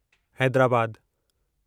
हैद्राबादु